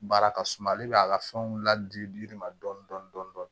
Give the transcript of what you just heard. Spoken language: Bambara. Baara ka suma ale b'a ka fɛnw ladi yiri ma dɔɔni dɔɔni dɔɔni